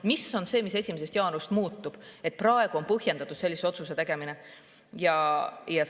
Mis on see, mis 1. jaanuarist muutub, et praegu on põhjendatud sellise otsuse tegemine?